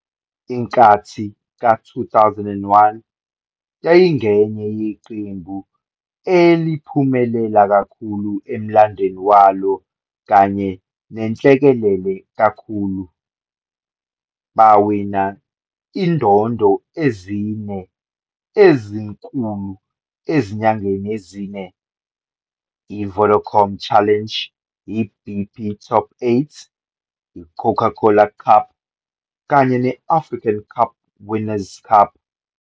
Inkathi ka-2001 yayingenye yeqembu eliphumelela kakhulu emlandweni walo kanye nenhlekelele kakhulu. Bawina izindondo ezine ezinkulu ezinyangeni ezine, i-Vodacom Challenge, i-BP Top Eight, i-Coca-Cola Cup, kanye ne-African Cup Winners' Cup.